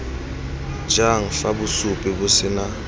jang fa bosupi bo sena